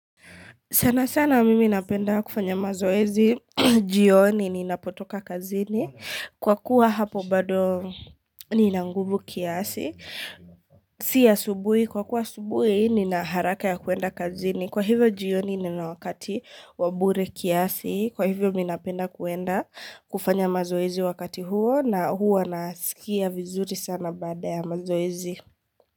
Sana sana mimi napenda kufanya mazoezi, jioni, ninapotoka kazini, kwa kuwa hapo bado nina nguvu kiasi, si asubuhi, kwa kuwa asubuhi nina haraka ya kuenda kazini, kwa hivyo jioni nina wakati wa bure kiasi, kwa hivyo mimi napenda kuenda kufanya mazoezi wakati huo na huwa nasikia vizuri sana baada ya mazoezi.